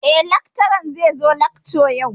Eh, lakcaran zai zo lakca yau.